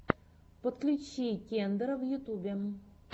подключи кендера в ютьюбе